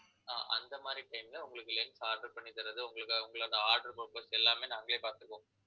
ஆஹ் அந்த மாதிரி time ல உங்களுக்கு lens order பண்ணி தர்றது, உங்களுக்காக உங்களுக்கு அந்த order எல்லாமே நாங்களே பாத்துக்குவோம்